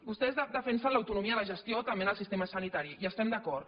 vostès defensen l’autonomia de gestió també en el sistema sanitari hi estem d’acord